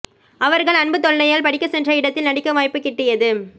அவர்கள் அன்பு தொல்லையால் படிக்க சென்ற இடத்தில் நடிக்க வாய்ப்பு கிட்டியது